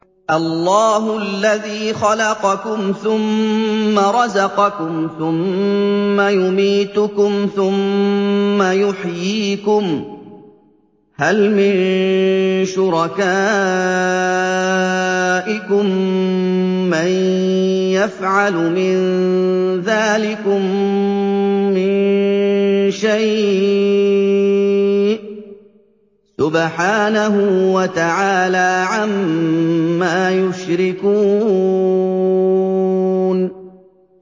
اللَّهُ الَّذِي خَلَقَكُمْ ثُمَّ رَزَقَكُمْ ثُمَّ يُمِيتُكُمْ ثُمَّ يُحْيِيكُمْ ۖ هَلْ مِن شُرَكَائِكُم مَّن يَفْعَلُ مِن ذَٰلِكُم مِّن شَيْءٍ ۚ سُبْحَانَهُ وَتَعَالَىٰ عَمَّا يُشْرِكُونَ